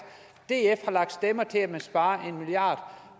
df har lagt stemmer til at man sparer en milliard